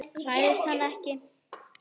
Hræðist hana ekki.